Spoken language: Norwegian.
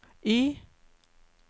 Y